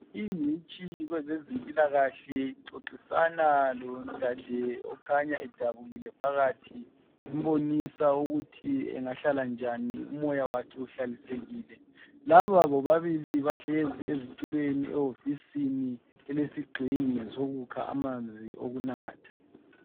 Ingcitshi kwezempilakahle ixoxisana lodade okhanya edabukile phakathi embonisa ukuthi engahlala njani umoya wakhe uhlalisekile laba bobabili bahlezi ezitulweni ehofisini elesigxingi sokukha amanzi okunatha.